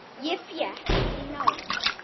Ég fékk í nárann.